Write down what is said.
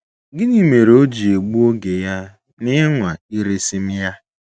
Gịnị mere o ji egbu oge ya n’ịnwa iresị m ya? ’